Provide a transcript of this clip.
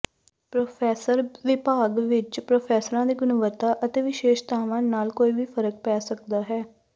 professor ਵਿਭਾਗ ਵਿਚ ਪ੍ਰੋਫੈਸਰਾਂ ਦੀ ਗੁਣਵੱਤਾ ਅਤੇ ਵਿਸ਼ੇਸ਼ਤਾਵਾਂ ਨਾਲ ਵੀ ਕੋਈ ਫ਼ਰਕ ਪੈ ਸਕਦਾ ਹੈ